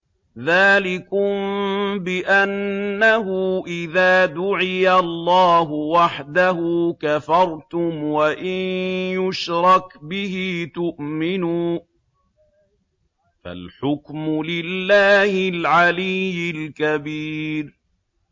ذَٰلِكُم بِأَنَّهُ إِذَا دُعِيَ اللَّهُ وَحْدَهُ كَفَرْتُمْ ۖ وَإِن يُشْرَكْ بِهِ تُؤْمِنُوا ۚ فَالْحُكْمُ لِلَّهِ الْعَلِيِّ الْكَبِيرِ